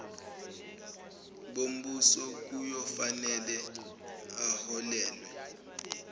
bombuso kuyofanele aholelwe